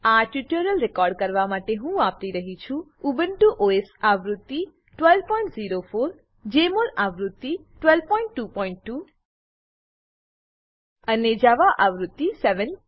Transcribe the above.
આ tutorial record કરવા માટે હું વાપરી રહ્યી છું ઉબુન્ટુ ઓએસ આવૃત્તિ 1204 જમોલ આવૃત્તિ 1222 અને જાવા આવૃત્તિ 7